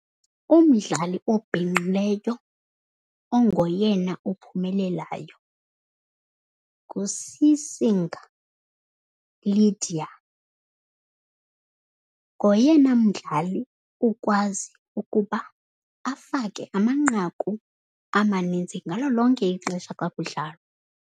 Umdlali obhinqileyo ongoyena ophumelelayo nguSisinga Lydia. Ngoyena mdlali ukwazi ukuba afake amanqaku amanintsi ngalo lonke ixesha xa kudlalwa.